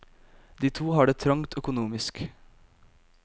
De to har det trangt økonomisk.